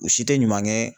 U si tɛ ɲuman kɛ